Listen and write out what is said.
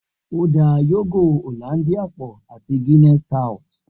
O da yogo Hollandia pọ ati Guinness stout.